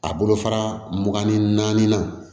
A bolofara mugan ni naani na